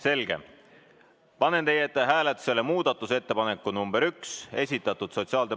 Selge, panen teie ette hääletusele muudatusettepaneku nr 1, mis on esitatud sotsiaal...